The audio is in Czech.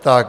Tak.